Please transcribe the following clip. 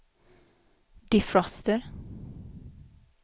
defroster